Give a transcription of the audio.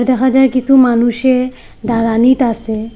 দেখা যায় কিছু মানুষে দাঁড়ানিত আসে।